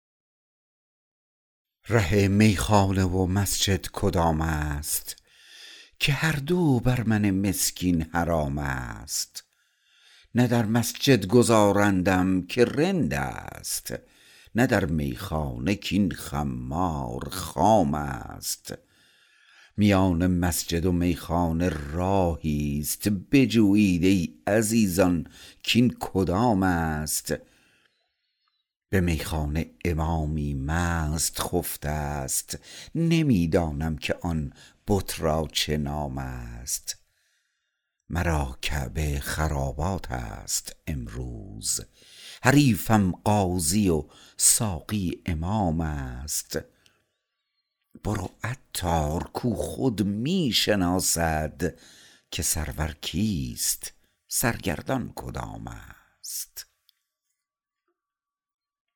ره میخانه و مسجد کدام است که هر دو بر من مسکین حرام است نه در مسجد گذارندم که رند است نه در میخانه کین خمار خام است میان مسجد و میخانه راهی است بجویید ای عزیزان کین کدام است به میخانه امامی مست خفته است نمی دانم که آن بت را چه نام است مرا کعبه خرابات است امروز حریفم قاضی و ساقی امام است برو عطار کو خود می شناسد که سرور کیست سرگردان کدام است